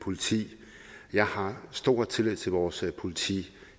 politi jeg har stor tillid til vores politi